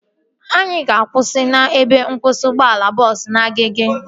Anyị ga-akwụsị n'ebe nkwụsị ụgbọala bọọsu na Agege